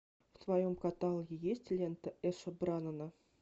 в твоем каталоге есть лента эша браннона